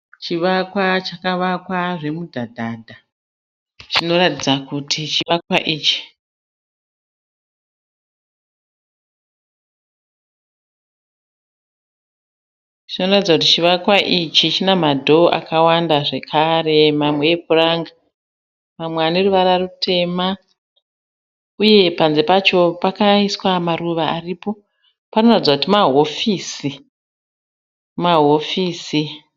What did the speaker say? Chivakwa chakavakwa zvemidhadhadha. Zvinoratidza kuti chivakwa ichi chine ma door zvakare mamwe epuranga amwe eruvara rutema, uye panze pacho pakaiswa maruva aripo .Zvinoratidza kuti ma wofisisi.